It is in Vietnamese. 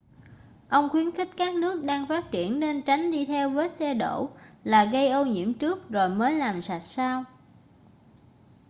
ông khuyến khích các nước đang phát triển nên tránh đi theo vết xe đổ là gây ô nhiễm trước rồi mới làm sạch sau